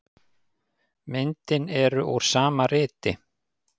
Myndin eru úr sama riti.